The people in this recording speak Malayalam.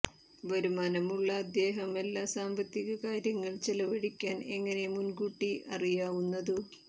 വരുമാനമുള്ള അദ്ദേഹം എല്ലാ സാമ്പത്തിക കാര്യങ്ങൾ ചെലവഴിക്കാൻ എങ്ങനെ മുൻകൂട്ടി അറിയാവുന്നതു